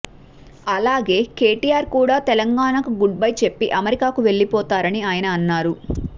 అలాగే కెటిఆర్ కూడా తెలంగాణకు గుడ్బై చెప్పి అమెరికాకు వెళ్లిపోతారని ఆయన అన్నారు